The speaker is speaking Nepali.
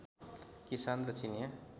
किसान र चिनियाँ